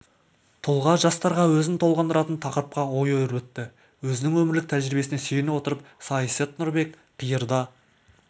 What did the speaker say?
тұлға жастарға өзін толғандыратын тақырыпқа ой өрбітті өзінің өмірлік тәжірибесіне сүйене отырып саясат нұрбек қиырда